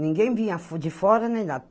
Ninguém vinha de fora, nem nada.